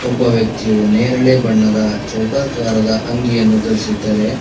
ಒಬ್ಬ ವ್ಯಕ್ತಿಯು ನೇರಳೆ ಬಣ್ಣದ ಚೌಕಾಕಾರದ ಅಂಗಿಯನ್ನು ಧರಿಸಿದ್ದಾರೆ.